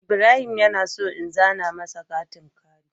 Ibrahim yana so in zana masa katin kari.